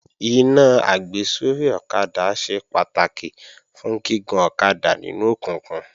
Iná àgbésórí ọ̀kadà ṣe pàtàkì fún gígun ọ̀kadà nínú òkùnkùn